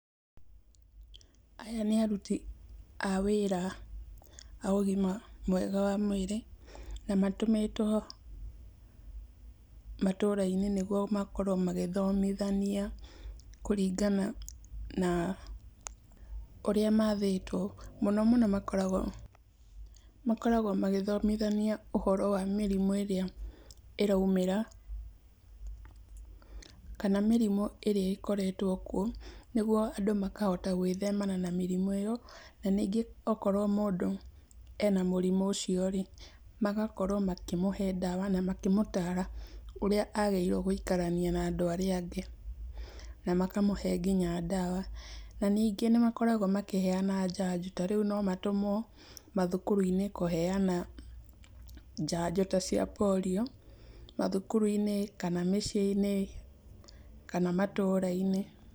Aya nĩ aruti a wĩra a ũgima mwega wa mwĩrĩ, na matũmĩtwo matũra-inĩ nĩ getha makorwo magĩthomithania kũringana na ũrĩa mathĩtwo. Mũno mũno makoragwo magĩthomithania ũhoro wa mĩrimũ ĩrĩa ĩraumĩra, kana mĩrimũ ĩrĩa ĩkoretwo kuo, nĩguo andũ mahote gwĩthemana na mĩrimũ ĩyo. Na ningĩ akorwo mũndũ ena mũrimũ ũciorĩ, magakorwo makĩmũh e ndawa na makĩmũtara ũrĩa agĩrĩirwo gũikarania na andũ arĩa angĩ na makĩmũhe dawa, na nyingĩ nĩ makoragwo makĩheana njanjo, ta rĩu no matũmwo mathukuru-inĩ kũheana njanjo ta cia Polio, mathukuru-inĩ kana mĩciĩ-inĩ, kana matũra-inĩ.